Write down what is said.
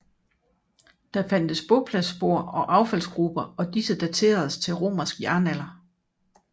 Der fandtes bopladsspor og affaldsgruber og disse dateredes til romersk jernalder